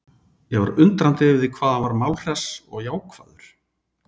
Ég var undrandi yfir því hvað hann var málhress og jákvæður.